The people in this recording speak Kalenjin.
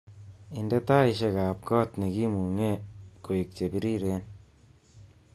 Indee taishekab kot nekimunge koek chebiriren